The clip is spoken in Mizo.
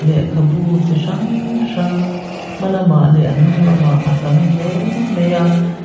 lehkhabu chi hrang hrang hmalamah leh hnung lamah a tam hle a.